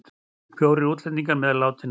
Fjórir útlendingar meðal látinna